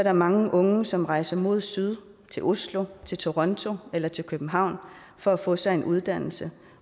er mange unge som rejser mod syd til oslo til toronto eller til københavn for at få sig en uddannelse